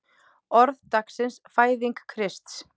Orð dagsins Fæðing Krists